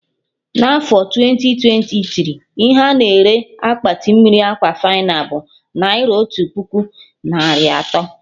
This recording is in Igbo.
Na afọ twenti twenti tiri, ihe a-na ere Akpati mmiri Aquafina bụ naira otu puku narị atọ